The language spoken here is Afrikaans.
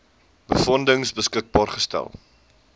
befondsing beskikbaar gestel